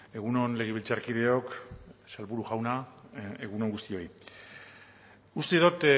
egun on legebiltzarkideok sailburu jauna egun on guztioi uste dut